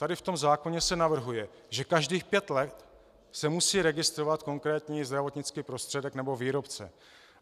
Tady v tom zákoně se navrhuje, že každých pět let se musí registrovat konkrétní zdravotnický prostředek nebo výrobce.